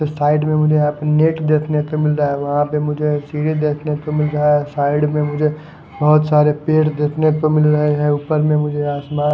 side में मुझे यहां पे नेट देखने को मिल रहा है वहां पे मुझे एक सीढ़ी देखने को मिल रहा है साइड में मुझे बहोत सारे पेड़ देखने को मिल रहे हैं ऊपर में मुझे आसमान--